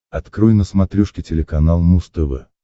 открой на смотрешке телеканал муз тв